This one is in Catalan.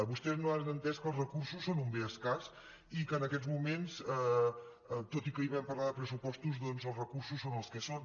vostès no han entès que els recursos són un bé escàs i que en aquests moments tot i que ahir vam parlar de pressupostos doncs els recursos són els que són